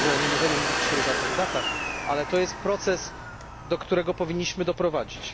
Myślę, że nie możemy mówić dzisiaj o żadnych datach, ale to jest proces, do którego powinniśmy doprowadzić.